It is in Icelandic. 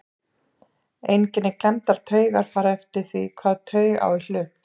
Einkenni klemmdrar taugar fara eftir því hvaða taug á í hlut.